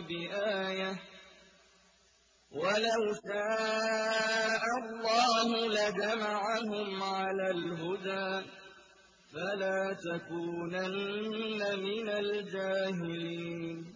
بِآيَةٍ ۚ وَلَوْ شَاءَ اللَّهُ لَجَمَعَهُمْ عَلَى الْهُدَىٰ ۚ فَلَا تَكُونَنَّ مِنَ الْجَاهِلِينَ